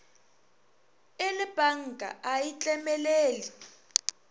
e lepanka a e tlemelele